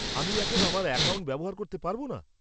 -আমি এখন আমার অ্যাকাউন্ট ব্যবহার করতে পারব না?